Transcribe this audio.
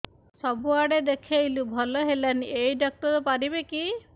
ସବୁଆଡେ ଦେଖେଇଲୁ ଭଲ ହେଲାନି ଏଇ ଡ଼ାକ୍ତର ପାରିବେ କି